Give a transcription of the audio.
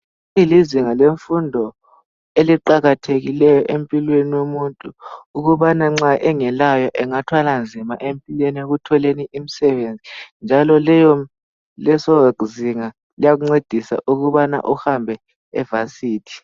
Izinga lemfundo eliqakathekileyo empilweni yomuntu, ukubana nxa engelawo engathwala nzima ukubana uthole umsebenzi. Njalo lesozinga liyakuncedisa ukubana uhambe evasithi.